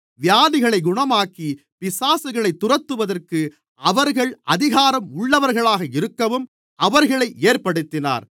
வியாதிகளைக் குணமாக்கிப் பிசாசுகளைத் துரத்துவதற்கு அவர்கள் அதிகாரம் உள்ளவர்களாக இருக்கவும் அவர்களை ஏற்படுத்தினார்